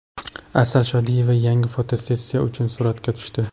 Asal Shodiyeva yangi fotosessiya uchun suratga tushdi .